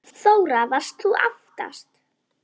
Þóra: Varst þú aftast?